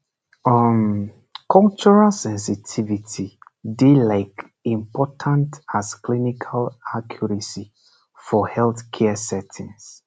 um cultural sensitivity dey like important as clinical accuracy for healthcare settings